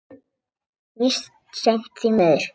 Víst seint, því miður.